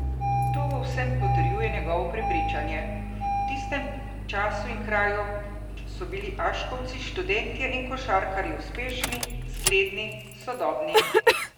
To v vsem potrjuje njegovo prepričanje: 'V tistem času in kraju so bili aškovci študentje in košarkarji uspešni, zgledni, sodobni.